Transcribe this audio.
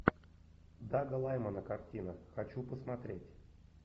дага лаймана картина хочу посмотреть